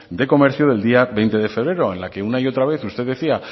de comercio del día veinte de febrero en la que una y otra vez usted decía